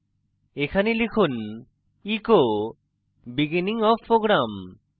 এখানে লিখুন echo beginning of program